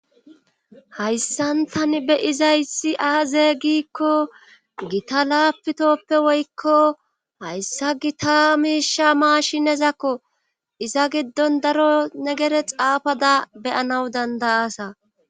hayssantani be izaysi aaze giikko gita laapitoppe woykko hayssagi ta miisha maashinezakko iza giddon daro negere xaafada beyanaw dandayasa